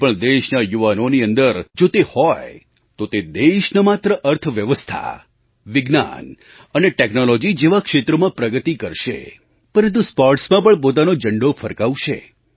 કોઈ પણ દેશના યુવાનોની અંદર જો તે હોય તો તે દેશ ન માત્ર અર્થવ્યવસ્થા વિજ્ઞાન અને ટૅક્નૉલૉજી જેવાં ક્ષેત્રોમાં પ્રગતિ કરશે પરંતુ સ્પૉર્ટ્સમાં પણ પોતાનો ઝંડો ફરકાવશે